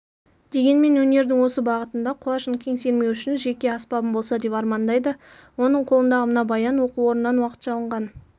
дегенмен өнердің осы бағытында құлашын кең сермеу үшін жеке аспабым болса деп армандайды оның қолындағы мына баян оқу орнынан уақытша алынған